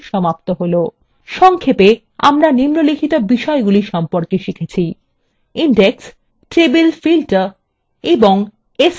সংক্ষেপে আমরা নিম্নলিখিত বিষয়গুলি সম্পর্কে শিখেছি